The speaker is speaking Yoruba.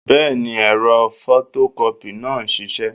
Bẹ́ẹ̀ni, ẹ̀rọ fọtọkọ́pì náà ń ṣiṣẹ́